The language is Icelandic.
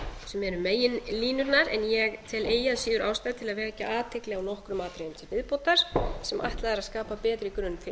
sem eru meginlínurnar en ég tel eigi að síður ástæðu til að vekja athygli á nokkrum atriðum til viðbótar sem ætlað er að skapa betri grunn fyrir